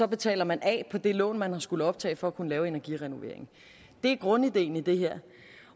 betaler man af på det lån som man har skullet optage for at kunne lave energirenoveringen det er grundideen i det her